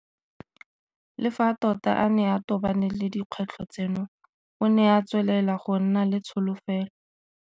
Le fa tota a ne a tobane le dikgwetlho tseno, o ne a tswelela go nna le tsholofelo.